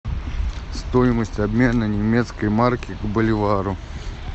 стоимость обмена немецкой марки к боливару